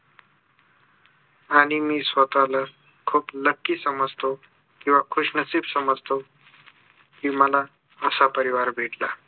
आणि मी स्वतःला खूप lucky समजतो किंवा खुशनसीब समजतो कि मला असा परिवार भेटला